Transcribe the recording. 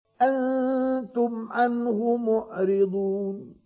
أَنتُمْ عَنْهُ مُعْرِضُونَ